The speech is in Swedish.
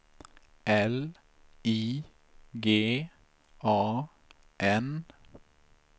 L I G A N